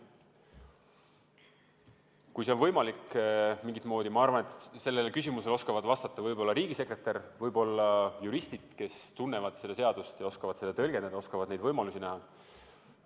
Kas see siiski on mingit moodi võimalik, sellele küsimusele oskavad vastata võib-olla riigisekretär, võib-olla juristid, kes tunnevad seadusi ja oskavad neid tõlgendada ja neid võimalusi näha.